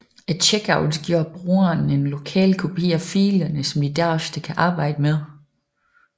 Et checkout giver brugeren en lokal kopi af filerne som de derefter kan arbejde med